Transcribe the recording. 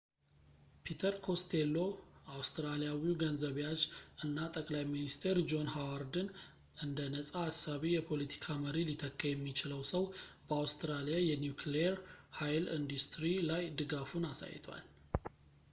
ፒተር ኮስቴሎ አውስትራሊያዊ ገንዘብ ያዥ እና ጠቅላይ ሚኒስቴር ጆን ሀዋርድን እንደ ነፃ አሳቢ የፖለቲካ መሪ ሊተካ የሚችለው ሰው በአውስትራሊያ የኒኩሊየር ኃይል ኢንዲስትሪ ላይ ድጋፉን አሳይቷል